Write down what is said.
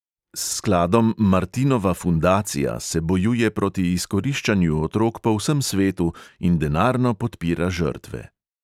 S skladom martinova fundacija se bojuje proti izkoriščanju otrok po vsem svetu in denarno podpira žrtve.